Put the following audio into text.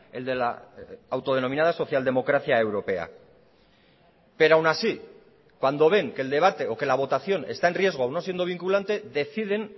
el de la autodenominada socialdemocracia europea pero aún así cuando ven que el debate o que la votación está en riesgo o no siendo vinculante deciden